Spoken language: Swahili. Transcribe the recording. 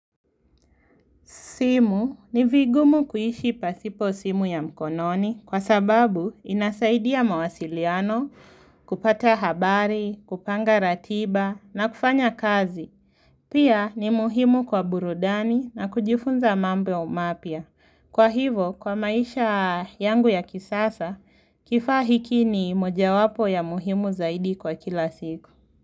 Simu ni vigumu kuhishi pasipo simu ya mkononi kwa sababu inasaidia mawasiliano kupata habari, kupanga ratiba na kufanya kazi. Pia ni muhimu kwa burudani na kujifunza mambo mapia. Kwa hivo kwa maisha yangu ya kisasa kifahikini moja wapo ya muhimu zaidi kwa kila siku.